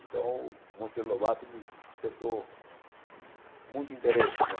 Então, o Monteiro Lobato me despertou muito interesse né.